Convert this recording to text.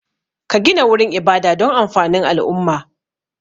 Ka gina wurin ibada don amfanin al'umma